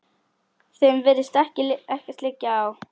Þeim virðist ekkert liggja á.